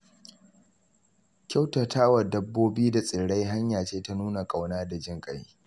Kyautata wa dabbobi da tsirrai hanya ce ta nuna ƙauna da jin ƙai.